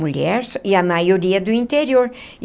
Mulher e a maioria do interior.